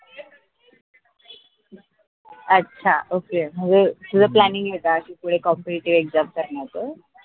अच्छा ok तुझं planning पुढे competitive exam करण्याच?